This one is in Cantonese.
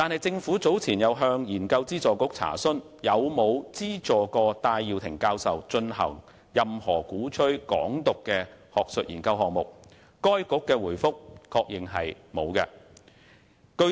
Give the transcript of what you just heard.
政府早前亦向研究資助局查詢有否資助戴耀廷教授進行任何鼓吹"港獨"的學術研究項目，該局在回覆中確認沒有這樣做。